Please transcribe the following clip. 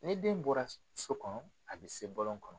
Ni den bɔra so kɔnɔ a bɛ se bɔlɔn kɔnɔ.